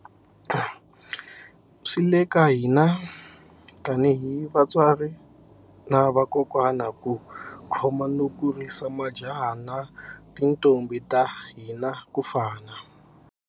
Swi le ka hina tanihi vatswari na vakokwana ku khoma no kurisa majaha na tintombhi ta hina ku fana.